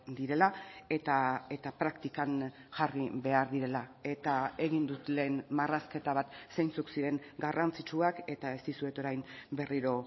direla eta praktikan jarri behar direla eta egin dut lehen marrazketa bat zeintzuk ziren garrantzitsuak eta ez dizuet orain berriro